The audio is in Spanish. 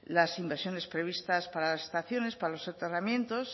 las inversiones previstas paras las estaciones para los soterramientos